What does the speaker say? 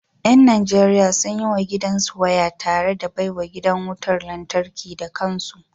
Yan Najeriya sun yi wa gidansu waya tare da baiwa gidan wutar lantarki da kansu